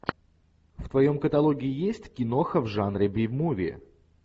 в твоем каталоге есть киноха в жанре би муви